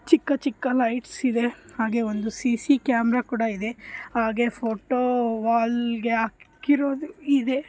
ಚಿಕ್ಕಚಿಕ್ಕ lights ಇದೆ ಹಾಗೆ ಒಂದು ಸಿ.ಸಿ ಕ್ಯಾಮೆರಾ ಕೂಡ ಇದೆ ಹಾಗೆ ಫೋಟೋ ವಾಲಿಗೆ ಹಾಕಿರುವುದು ಇದೆ.